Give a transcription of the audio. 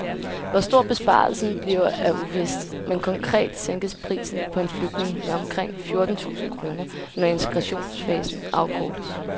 Hvor stor besparelsen bliver er uvist, men konkret sænkes prisen på en flygtning med omkring fjorten tusind kroner, når integrationsfasen afkortes.